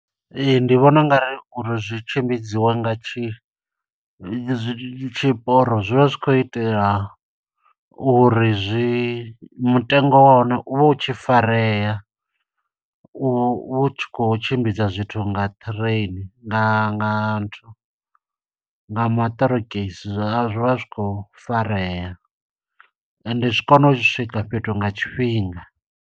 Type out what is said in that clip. Ee, ndi vhona ungari uri zwi tshimbidziwe nga tshi, zwi tshi zwiporo zwi vha zwi kho itela uri zwi mutengo wa hone, u vhe u tshi farea. U tshi kho tshimbidza zwithu nga train, nga nga nthu nga maṱorokisi. Zwi vha zwi khou farea ende zwi kona u swika fhethu nga tshifhinga.